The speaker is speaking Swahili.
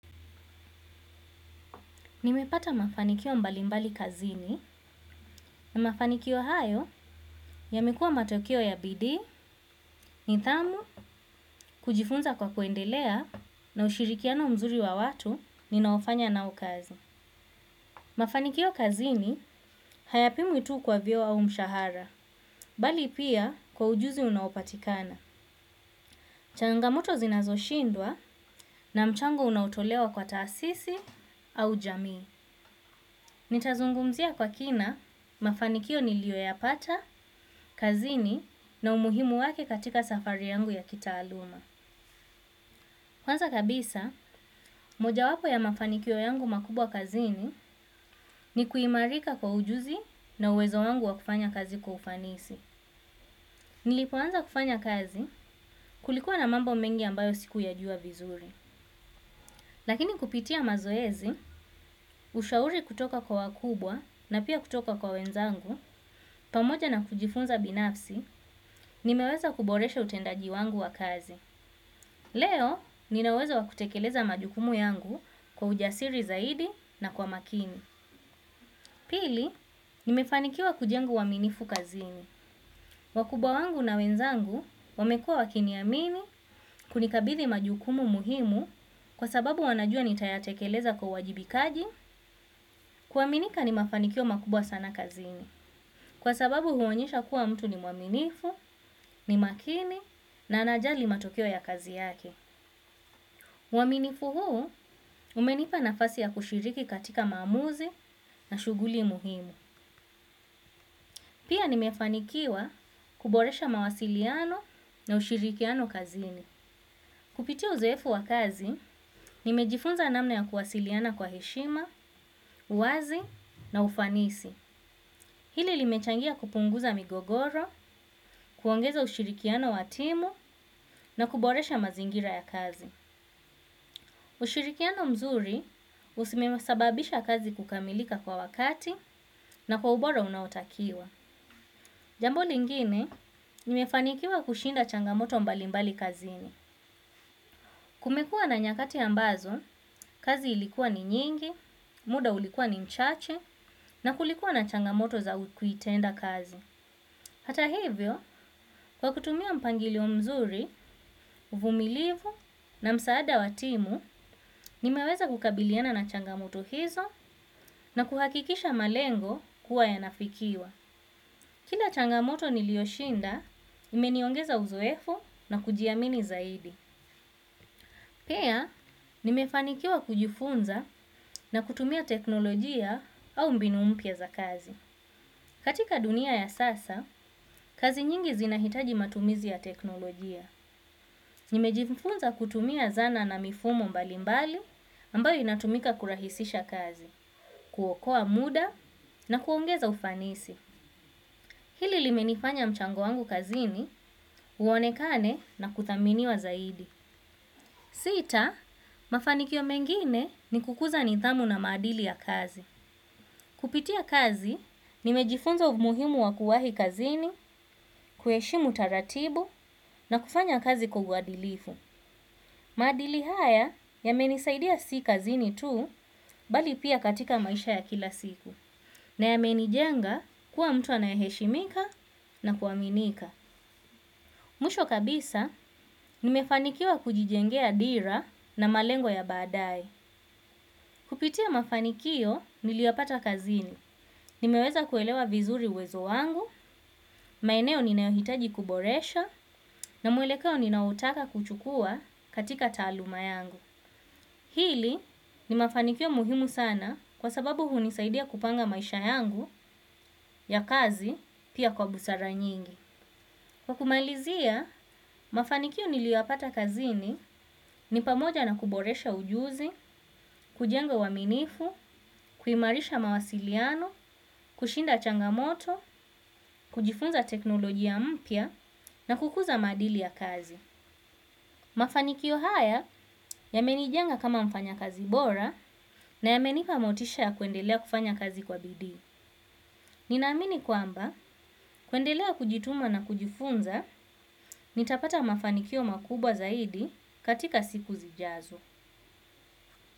Nimepata mafanikio mbalimbali kazini na mafanikio hayo yamekua matokeo ya bidii nidhamu kujifunza kwa kuendelea na ushirikiano mzuri wa watu ninaofanya nao kazi. Mafanikio kazini hayapimwi tu kwa vio au mshahara, bali pia kwa ujuzi unaopatikana. Changamoto zinazo shindwa na mchango unaotolewa kwa taasisi au jamii. Nitazungumzia kwa kina mafanikio nilio yapata, kazini na umuhimu wake katika safari yangu ya kitaaluma. Kwanza kabisa, moja wapo ya mafanikio yangu makubwa kazini ni kuimarika kwa ujuzi na uwezo wangu wa kufanya kazi kwa ufanisi. Nilipoanza kufanya kazi kulikuwa na mambo mengi ambayo siku yajua vizuri. Lakini kupitia mazoezi, ushauri kutoka kwa wakubwa na pia kutoka kwa wenzangu, pamoja na kujifunza binafsi, nimeweza kuboresha utendaji wangu wa kazi. Leo, ninaweza wakutekeleza majukumu yangu kwa ujasiri zaidi na kwa makini. Pili, nimefanikiwa kujenga uwaminifu kazini. Wakuba wangu na wenzangu, wamekua wakiniamini, kunikabidi majukumu muhimu kwa sababu wanajua nitayatekeleza kwa wajibikaji, kuaminika ni mafanikio makubwa sana kazini. Kwa sababu huonyesha kuwa mtu ni mwaminifu, ni makini, na anajali matokeo ya kazi yake. Waminifu huu, umenipa nafasi ya kushiriki katika mamuzi na shuguli muhimu. Pia nimefanikiwa kuboresha mawasiliano na ushirikiano kazini. Kupiti uzeefu wa kazi, nimejifunza namna ya kuwasiliana kwa heshima, uwazi na ufanisi. Hili limechangia kupunguza migogoro, kuongeza ushirikiano wa timu na kuboresha mazingira ya kazi. Ushirikiano mzuri umesababisha kazi kukamilika kwa wakati na kwa ubora unaotakiwa. Jambo lingine, nimefanikiwa kushinda changamoto mbali mbali kazini. Kumekua na nyakati ambazo, kazi ilikuwa ni nyingi, muda ulikuwa ni mchache, na kulikuwa na changamoto za kuitenda kazi. Hata hivyo, kwa kutumia mpangilio mzuri, uvumilivu na msaada wa timu, nimeweza kukabiliana na changamoto hizo na kuhakikisha malengo kuwa yanafikiwa. Kila changamoto niliyoshinda, imeniongeza uzoefu na kujiamini zaidi. Pea, nimefanikiwa kujifunza na kutumia teknolojia au mbinu mpya za kazi. Katika dunia ya sasa, kazi nyingi zinahitaji matumizi ya teknolojia. Nimejifunza kutumia zana na mifumo mbali mbali ambayo inatumika kurahisisha kazi, kuokoa muda na kuongeza ufanisi. Hili limenifanya mchango wangu kazini, uonekane na kudhaminiwa zaidi. Sita, mafanikio mengine ni kukuza nitamu na madili ya kazi. Kupitia kazi, nimejifunza muhimu wa kuwahi kazini, kueshimu taratibu na kufanya kazi kwa huwadilifu. Madili haya, yamenisaidia si kazini tu, bali pia katika maisha ya kila siku. Na yamenijenga, kuwa mtu anaye heshimika na kuaminika. Mwisho kabisa, nimefanikiwa kujijengea dira na malengoa ya badae. Kupitia mafanikio niliyapata kazini. Nimeweza kuelewa vizuri uwezo wangu, maeneo ninauhitaji kuboresha, na muelekeo ninautaka kuchukua katika taluma yangu. Hili, ni mafanikio muhimu sana kwa sababu hunisaidia kupanga maisha yangu ya kazi pia kwa busara nyingi. Kwa kumalizia, mafanikio niliyoyapata kazini ni pamoja na kuboresha ujuzi, kujenga waminifu, kuhimarisha mawasiliano, kushinda changamoto, kujifunza teknolojia mpya na kukuza madili ya kazi. Mafanikio haya yamenijenga kama mfanya kazi bora na yamenipa motisha ya kuendelea kufanya kazi kwa bidii. Ninaamini kwamba, kuendelea kujituma na kujifunza, nitapata mafanikio makubwa zaidi katika siku zijazo.